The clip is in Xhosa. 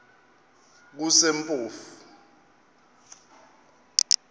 kusempofu